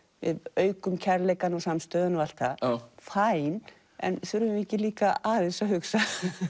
aukum kærleikann og samstöðuna og allt það en þurfum við ekki líka aðeins að hugsa